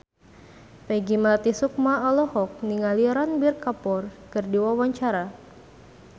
Peggy Melati Sukma olohok ningali Ranbir Kapoor keur diwawancara